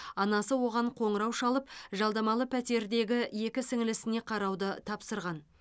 анасы оған қоңырау шалып жалдамалы пәтердегі екі сіңілісіне қарауды тапсырған